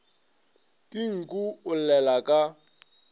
ke nku o llela ka